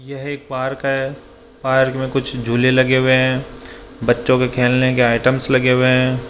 यह एक पार्क है पार्क में कुछ झूले लगे हुए हैं बच्चों के खेलने के आइटम्स लगे हुए हैं।